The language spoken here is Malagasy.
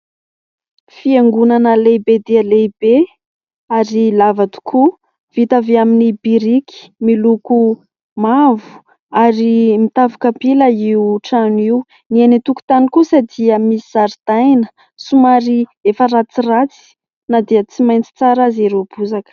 Fiangonana lehibe dia lehibe ary lava tokoa vita avy amin'ny biriky, miloko mavo ary mitafo kapila io trano io, ny eny an-tokotany kosa dia misy zaridaina somary efa ratsiratsy na dia tsy maitso tsara aza ireo bozaka.